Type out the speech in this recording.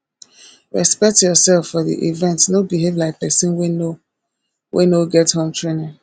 respect yourself for di event no behave like persin wey no wey no get home tranning